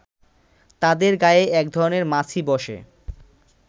তাদের গায়ে একধরনের মাছি বসে